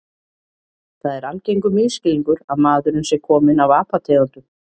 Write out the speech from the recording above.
Það er algengur misskilningur að maðurinn sé kominn af apategundum.